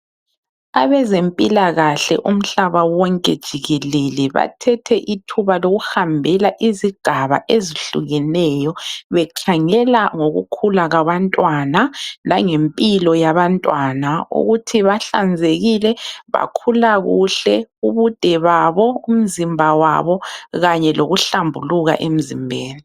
Abeze mpilakahle umhlaba wonke jikelele, bathethe ithuba lokuhambela izigaba ezehlukeneyo. Bekhangela ngokukhula kwabantwana langempilo yabantwana. Ukuthi bahlanzekile bakhula kuhle, ubude babo, umzimba wabo kanye lokuhlambuluka emzimbeni.